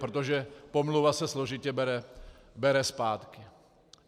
Protože pomluva se složitě bere zpátky.